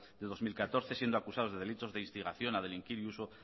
de dos mil catorce siendo acusados de delitos de instigación a delinquir y uso